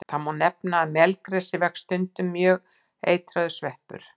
Þó má nefna að á melgresi vex stundum mjög eitraður sveppur.